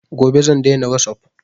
Gobe zan daina wasup